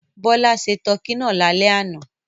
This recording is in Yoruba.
Bọ́lá se tọkí náà lálẹ́ àná.